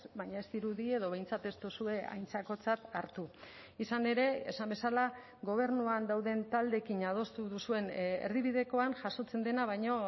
baina ez dirudi edo behintzat ez duzue aintzakotzat hartu izan ere esan bezala gobernuan dauden taldeekin adostu duzuen erdibidekoan jasotzen dena baino